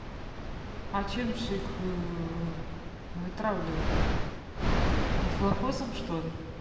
а чем ж их вытравливать то дихлофосом что ли